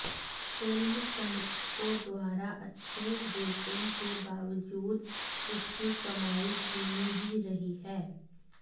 film समीक्षकों द्वारा अच्छे रेटिंग के बावजूद इसकी कमाई धीमी ही रही है